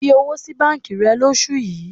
Fi owó sí báńkì rẹ lóṣù yìí.